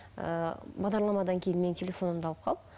ы бағдарламадан кейін менің телефонымды алып қал